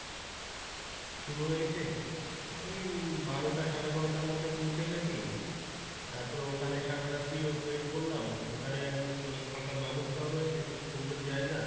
শুরু হয়েছে এই বারোটা সাড়ে বারোটার মধ্যে পৌঁছে গেছি, তারপরে ওখানে সারা রাত্রি wait করলাম ওখানে অনেক থাকার বাবস্তাও রয়েছে খুব সুন্দর জায়গা।